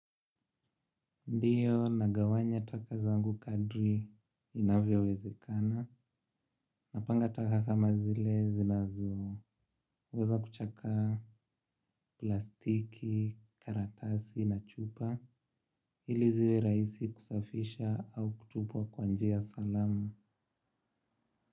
Ndiyo nagawanya taka zangu kadri inavyowezekana. Napanga taka kama zile zinazoweza kuchakaa plastiki, karatasi na chupa. Ili ziwe rahisi kusafisha au kutupwa kwa njia salama.